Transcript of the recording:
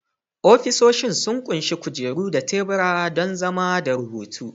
Ofisoshin sun ƙunshi kujeru da tebura don zama da rubutu